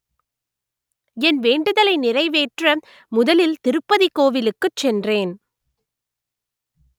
என் வேண்டுதலை நிறைவேற்ற முதலில் திருப்பதி கோவிலுக்கு சென்றேன்